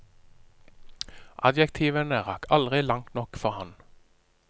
Adjektivene rakk aldri langt nok for ham.